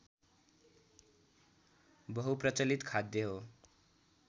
बहुप्रचलित खाद्य हो